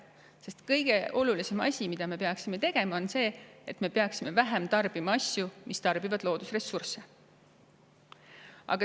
Sest kõige olulisem asi, mida me peaksime tegema, on see, et me peaksime vähem tarbima asju, mis loodusressursse.